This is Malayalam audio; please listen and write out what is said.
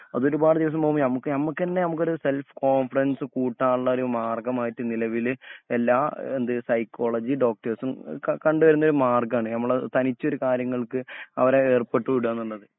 അതൊരുപാട്‌ദിവസം പോവുമ്പം ഞമ്മക്ക് ഞമ്മക്ക് തന്നെ സെൽഫ് കോൺഫിഡൻസ് കൂട്ടാനുള്ള ഒരുമാർഗമായിട്ട് നിലവില് എല്ലാ എന്ത് സൈക്കോളജി ഡോക്റ്റേഴ്സും അ അ കണ്ടുവരുന്നൊരു മാർഗ്ഗണ് ഞമ്മള് തനിച്ചൊരു കാര്യങ്ങൾക്ക് ഹ് അവരെ ഏർപെട്ടുവിടുകാന്നുപറഞ്ഞാല്